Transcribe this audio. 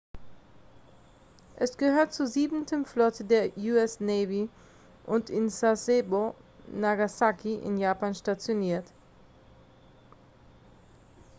es gehört zur siebenten flotte der us navy und in sasebo nagasaki in japan stationiert